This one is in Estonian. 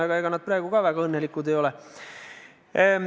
Aga ega nad praegu ka väga õnnelikud ole.